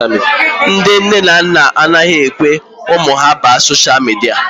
Ndị nne na nna anaghị ekwe ụmụ ha baa sosha midia.